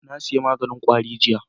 Na sayi maganin kwari jiya